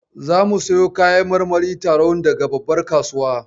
Zamu siyo kayan marmarin taron daga babbar kasuwa.